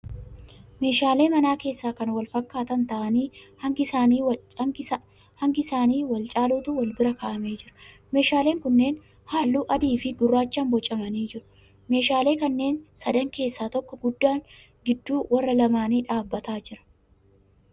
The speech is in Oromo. Meeshaalee mana keessaa kan wal fakkaatan ta'anii hangi isaanii wal caaluutu wal bira ka'amee jira. Meeshaaleen kunneen halluu adii fi gurraachaan boocamanii jiru. Meeshaalee kanneen sadan keessaa tokko guddaan gidduu warra lamaanii dhaabbataa jira.